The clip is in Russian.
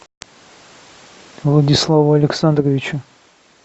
владиславу александровичу